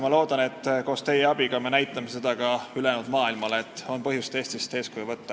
Ma loodan, et teie abiga me näitame ülejäänud maailmale, et on põhjust Eestist eeskuju võtta.